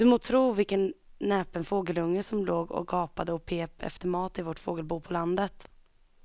Du må tro vilken näpen fågelunge som låg och gapade och pep efter mat i vårt fågelbo på landet.